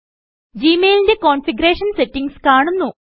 G മെയിലിന്റെ configuration settings കാണുന്നു